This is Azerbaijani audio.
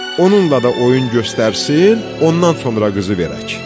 Onunla da oyun göstərsin, ondan sonra qızı verək."